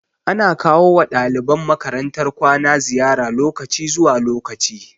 Ana kawo wa ɗaliban makarantar kwana ziyara lokaci zuwa lokaci